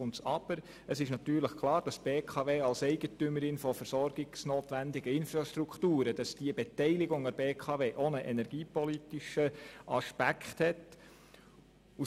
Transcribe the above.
Aber es ist natürlich klar, dass die Beteiligung an der BKW als Eigentümerin von versorgungsnotwendigen Infrastrukturen auch einen energiepolitischen Aspekt hat.